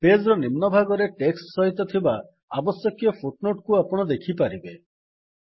page ର ନିମ୍ନ ଭାଗରେ ଟେକ୍ସଟ୍ ସହିତ ଥିବା ଆବଶ୍ୟକୀୟ ଫୁଟ୍ ନୋଟ୍ କୁ ଆପଣ ଦେଖିପାରିବେ